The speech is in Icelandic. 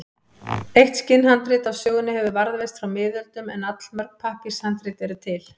Eitt skinnhandrit af sögunni hefur varðveist frá miðöldum en allmörg pappírshandrit eru til.